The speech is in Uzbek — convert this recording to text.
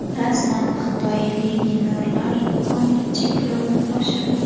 Rasman: Xitoy legionerlar soniga cheklovni oshirdi.